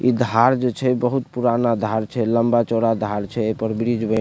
ई धार जो छे बहुत पुराना धार छे लम्बा चौड़ा धार छे ए पर ब्रिज में --